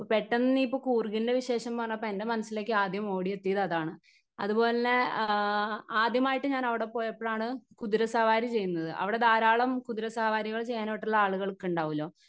Speaker 1 അപ്പൊ പെട്ടെന്ന് കൂർഗിൻ്റെ വിശേഷം പറനപ്പോ എൻ്റെ മനസ്സിലേക്ക് ആദ്യം ഓടിയെത്തിയത് അതാണ്. അതുപോലന്നെ ആ ആദ്യമായിട്ട് അവിടെ പോയപ്പഴാണ് കുതിര സവാരി ചെയ്യുന്നത് അവിടെ ധാരാളം കുതിരസവാരികൾ ചെയ്യാനായിട്ടുള്ള ആളുകൾക്കുണ്ടാവൂല്ലൊ.